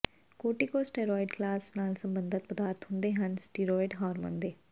corticosteroid class ਨਾਲ ਸਬੰਧਤ ਪਦਾਰਥ ਹੁੰਦੇ ਹਨ ਸਟੀਰੌਇਡ ਹਾਰਮੋਨ ਦੇ